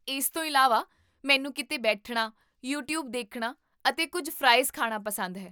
ਇਸ ਤੋਂ ਇਲਾਵਾ, ਮੈਨੂੰ ਕੀਤੇ ਬੈਠਣਾ, ਯੂਟਿਊਬ ਦੇਖਣਾ, ਅਤੇ ਕੁੱਝ ਫਰਾਈਜ਼ ਖਾਣਾ ਪਸੰਦ ਹੈ